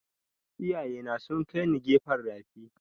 Iyaye na sun kai ni gefen rafi